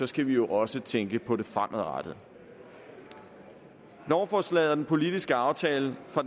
skal vi jo også tænke på det fremadrettede lovforslaget og den politiske aftale fra